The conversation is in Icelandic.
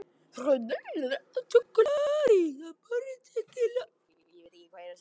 Karen Kjartansdóttir: En hvað er sjórinn heitur núna?